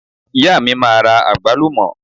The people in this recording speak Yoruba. ìyá mi ma ra agbalumo